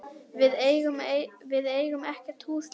Við eigum ekkert hús lengur.